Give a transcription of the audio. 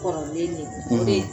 Kɔrɔlen de o de